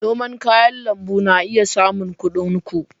Noman kayan lambu na iya samun kuɗin ku.